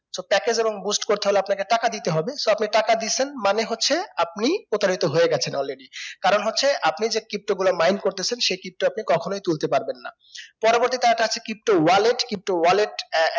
so package এবং boost করতে হলে আপনাকে টাকা দিতে হবে so আপনি টাকা দিসেন মানে হচ্ছে আপনি প্রতারিত হয়ে গেছেন already কারণ হচ্ছে আমি যে pto গুলো mine করতাসেন সেই pto আপনি কখনোই তুলতে পারবেন না পরবর্তীটা টা সে pto wallet, crypto wallet আহ